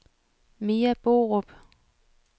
Mia Borup